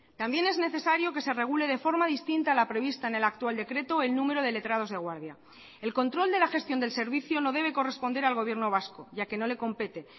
también es necesario que se regule de forma distinta la prevista en el actual decreto el número de letrados de guardia el control de la gestión del servicio no debe corresponder al gobierno vasco ya que no le compete